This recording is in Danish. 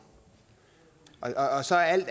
altså at